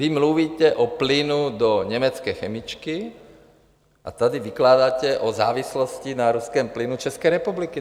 Vy mluvíte o plynu do německé chemičky a tady vykládáte o závislosti na ruském plynu České republiky.